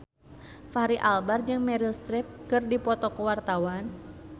Fachri Albar jeung Meryl Streep keur dipoto ku wartawan